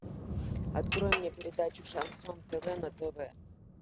открой мне передачу шансон тв на тв